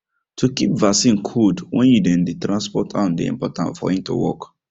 to keep vaccine cold when you dem dey transport am dey important for em to work